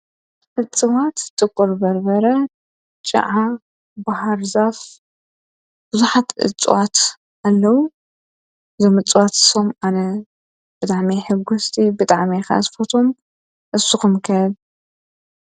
እፅዋት ጥቆል በርበረ ጨዓ ብሃርዛፍ ብዙኃት እፅዋት ኣለዉ ዘምጽዋት ሶም ኣነ ብጥዕሜሕጐስቲ ብጥዕሜኻ ዝ ፈቶም ኣስኹምከት።